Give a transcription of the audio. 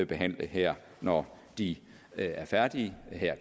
behandle her når de er færdige